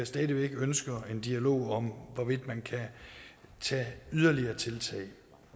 stadig væk ønsker en dialog om hvorvidt man kan tage yderligere tiltag